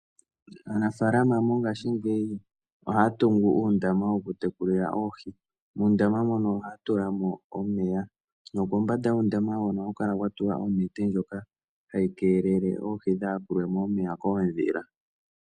Aanafaalama mongaashingeyi ohaya tungu uundama woku tekulila oohi, muundama muno ohaya tula mo omeya nokombanda yuundama hono ohaku kala kuna kwa tulwa onete ndjoka hayi keelele oohi kaadhi yakulwe mo koondhila.